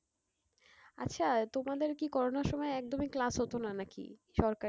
আচ্ছা তোমাদের কি করোনার সময় একদমই class হতো না নাকি সরকারি?